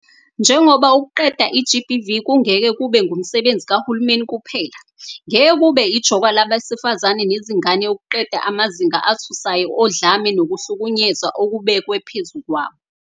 Njengoba ukuqeda i-GBV kungeke kube ngumsebenzi kahulumeni kuphela, ngeke kube ijoka labesifazane nezingane ukuqeda amazinga athusayo odlame nokuhlukunyezwa okubekwe phezu kwabo.